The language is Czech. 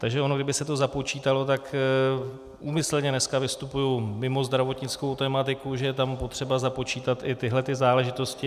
Takže ono kdyby se to započítalo, tak úmyslně dneska vystupuji mimo zdravotnickou tematiku, že je tam potřeba započítat i tyhlety záležitosti.